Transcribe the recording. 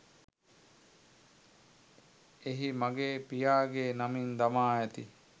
එහි මගේ පියාගේ නමින් දමා ඇති